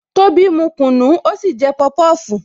Tobi mu kunu, ó sì jẹ pọpọfu